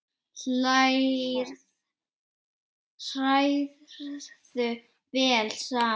Hrærðu vel saman.